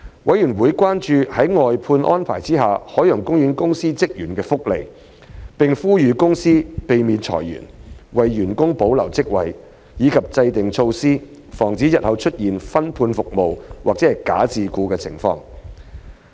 委員關注在外判安排下海洋公園公司職員的福利，並呼籲海洋公園公司避免裁員、為員工保留職位，以及制訂措施防止日後出現"分判服務"或"假自僱"的情況。